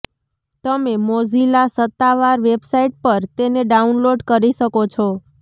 તમે મોઝિલા સત્તાવાર વેબસાઇટ પર તેને ડાઉનલોડ કરી શકો છો